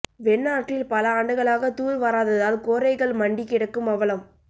வெண்ணாற்றில் பல ஆண்டுகளாக தூர் வாராததால் கோரைகள் மண்டி கிடக்கும் அவலம்